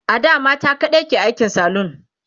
ada mata kaɗai ke aikin salon